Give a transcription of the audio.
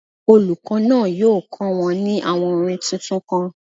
Olùkọ́ náà yóò kọ́ wọn ní àwọn orin tuntun kan.